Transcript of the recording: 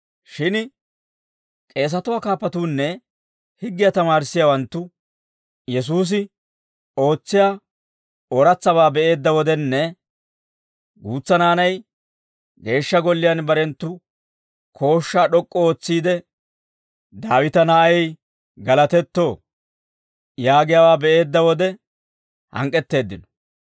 Shin k'eesatuwaa kaappatuunne higgiyaa tamaarissiyaawanttu Yesuusi ootsiyaa ooratsabaa be'eedda wodenne, guutsa naanay Geeshsha Golliyaan barenttu kooshshaa d'ok'k'u ootsiide, «Daawita na'ay galatetto» yaagiyaawaa be'eedda wode hank'k'etteeddino.